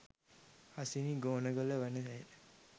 හසිනි ගෝනගල වන ඇය